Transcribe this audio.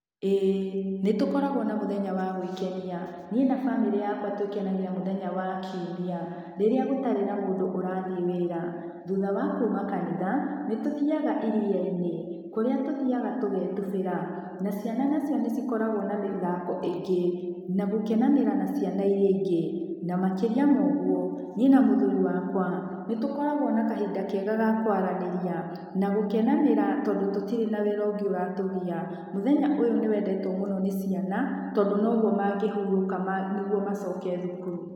ĩĩ nĩtũkoragwo na mũthenya wa gwĩkenia, niĩ na bamĩrĩ yakwa twĩkenagia mũthenya wa kiumia, rĩrĩa gũtarĩ na mũndũ ũrathiĩ wĩra. Thutha wa kuuma kanitha, nĩtũthiaga iria-inĩ kũrĩa tũthiaga tũgetubĩra na ciana nacio nĩcikoragwo na mĩthako ĩngĩ na gũkenanĩra na ciana irĩa ingĩ, na makĩria mo ũguo niĩ na mũthuri wakwa nĩtũkoragwo na kahinda kega ga kwaranĩria na gũkenanĩra tondũ tũtire na wĩra ũngĩ ũratũgia. Mũthenya ũyũ nĩwendetwo mũno nĩ ciana, tondũ noguo mangĩhurũka ma nĩguo macoke thukuru.